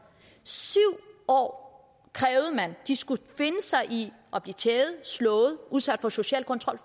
syv år krævede man at de skulle finde sig i at blive tævet slået udsat for social kontrol